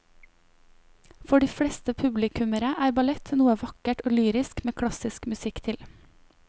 For de fleste publikummere er ballett noe vakkert og lyrisk med klassisk musikk til.